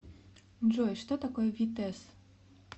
джой что такое витесс